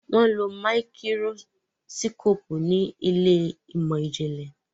wón ló Máíkírósíkópù ní Ilé ìmọ̀n-jinlẹ.